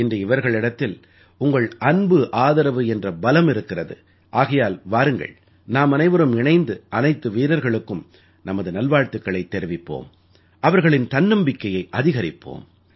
இன்று இவர்களிடத்தில் உங்கள் அன்புஆதரவு என்ற பலம் இருக்கிறது ஆகையால் வாருங்கள் நாமனைவரும் இணைந்து அனைத்து வீரர்களுக்கும் நமது நல்வாழ்த்துக்களைத் தெரிவிப்போம் அவர்களின் தன்னம்பிக்கையை அதிகரிப்போம்